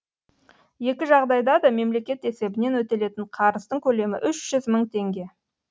екі жағдайда да мемлекет есебінен өтелетін қарыздың көлемі үш жүз мың теңге